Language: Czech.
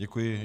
Děkuji.